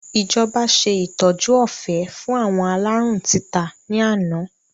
Ìjọba ṣe ìtọ́jú ọ̀fẹ́ fún àwọn aláárùn títa ni àná